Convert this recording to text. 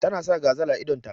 Ta na sa gazal a idon ta.